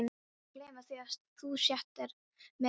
Ertu búinn að gleyma því að þú settir mig af?